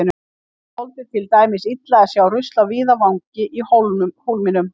Ég þoldi til dæmis illa að sjá rusl á víðavangi í Hólminum.